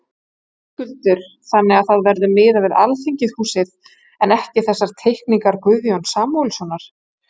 Höskuldur: Þannig að það verður miðað við Alþingishúsið en ekki þessar teikningar Guðjóns Samúelssonar?